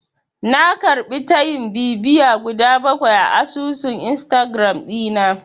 Na karɓi tayin bibiya guda bakwai a asusun Instagiram ɗina.